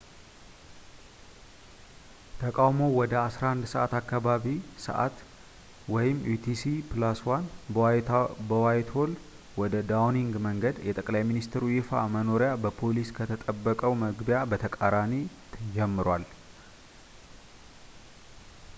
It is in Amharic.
ተቃውሞው ወደ 11፡00 አካባቢያዊ ሰዕት utc+1 በዋይትሆል ወደ ዳውኒንግ መንገድ፣ የጠቅላይ ሚኒስተሩ ይፋ መኖሪያ በፖሊስ ከተጠበቀው መግቢያ በተቃራኒ ጀምሯል